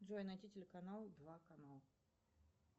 джой найди телеканал два канал